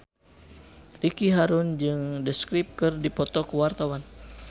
Ricky Harun jeung The Script keur dipoto ku wartawan